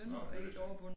Nå det vidste jeg ikke